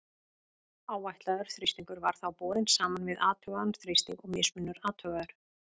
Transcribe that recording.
Áætlaður þrýstingur var þá borinn saman við athugaðan þrýsting og mismunur athugaður.